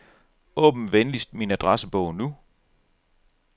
Åbn venligst min adressebog nu.